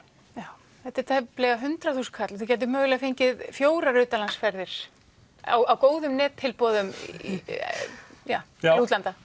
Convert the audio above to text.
já þetta er tæplega hundrað þúsund kall og þið gætuð mögulega fengið fjóra utanlandsferðir á góðum nettilboðum til útlanda